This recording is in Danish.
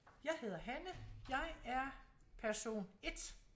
Jeg hedder Hanne jeg er person 1